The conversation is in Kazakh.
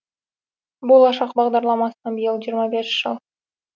болашақ бағдарламасына биыл жиырма бес жыл